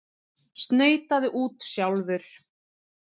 Snautaðu út sjálfur!